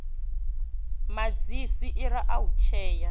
madzhesi ira a u tshea